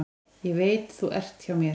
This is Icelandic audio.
Ég veit þú ert hjá mér.